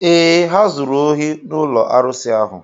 Ee, ha zuru ohi n’ụlọ arụsị ahụ.